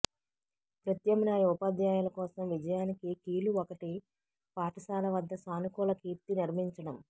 ప్రత్యామ్నాయ ఉపాధ్యాయుల కోసం విజయానికి కీలు ఒకటి పాఠశాల వద్ద సానుకూల కీర్తి నిర్మించడం